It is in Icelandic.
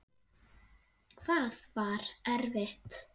Hvað var erfitt?